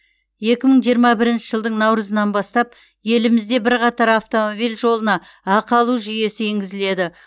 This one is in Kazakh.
екі мың жиырма бірінші жылдың наурызынан бастап елімізде бірқатар автомобиль жолына ақы алу жүйесі енгізіледі